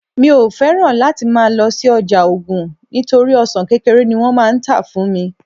mi o fẹràn láti ma lo si oja ogun nitori ọsàn kékeré ni wón má n ta fún mi